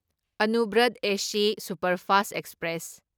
Anuvrat AC superfast express